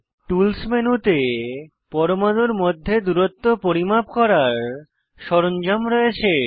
tools মেনুতে পরমাণুর মধ্যে দূরত্ব পরিমাপ করার সরঞ্জাম রয়েছে